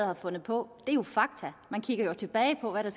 har fundet på det er jo fakta man kigger jo tilbage på hvad der